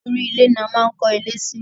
Orí ilẹ̀ ni a máa ń kó ilé sí.